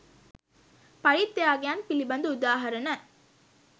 පරිත්‍යාගයන් පිළිබඳ උදාහරණ